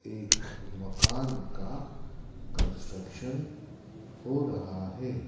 एक मकान का कंस्ट्रक्शन हो रहा है।